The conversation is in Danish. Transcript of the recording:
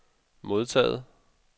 modtaget